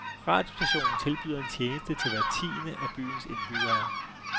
Radiostationen tilbyder en tjeneste til hver tiende af byens indbyggere.